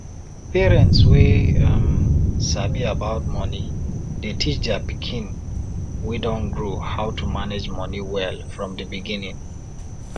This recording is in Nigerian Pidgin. parents wey um sabi about money dey teach dia pikin wey don grow how to manage money well from di beginning